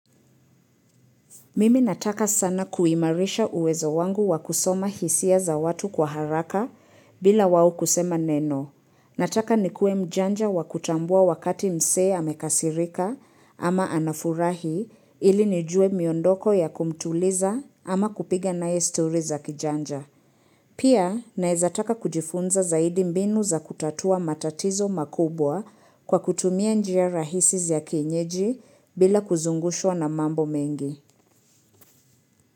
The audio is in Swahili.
Mimi nataka sana kuimarisha uwezo wangu wakusoma hisia za watu kwa haraka bila wao kusema neno. Nataka nikwe mjanja wakutambua wakati msee amekasirika ama anafurahi ili nijue miondoko ya kumtuliza ama kupiga nae story za kijanja. Pia naezataka kujifunza zaidi mbinu za kutatua matatizo makubwa kwa kutumia njia rahisi ya kinyeji bila kuzungushwa na mambo mengi.